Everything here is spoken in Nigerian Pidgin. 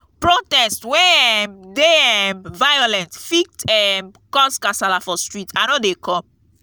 protest wey um dey um violent fit um cause kasala for street i no dey come